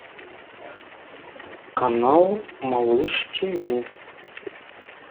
канал малыш тв